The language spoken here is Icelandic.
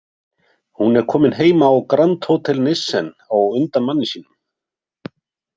Hún er komin heim á Grand Hotel Nissen á undan manni sínum.